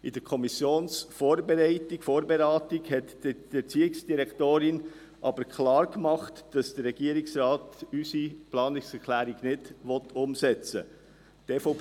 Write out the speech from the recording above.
In der Kommissionsvorberatung stellte die Erziehungsdirektorin aber klar, dass der Regierungsrat unsere Planungserklärung nicht umsetzen will.